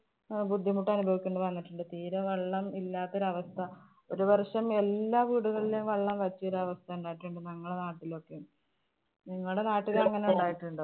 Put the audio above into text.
അഹ് ബുദ്ധിമുട്ടനുഭവിക്കേണ്ടി വന്നിട്ടുണ്ട്. തീരെ വെള്ളം ഇല്ലാത്തൊരവസ്ഥ ഒരു വര്‍ഷം എല്ലാ വീടുകളിലും വെള്ളം വറ്റിയൊരവസ്ഥ ഉണ്ടായിട്ടുണ്ട് ഞങ്ങളുടെ നാട്ടിലൊക്കെ. നിങ്ങടെ നാട്ടില് അങ്ങനെ ഉണ്ടായിട്ടുണ്ടോ?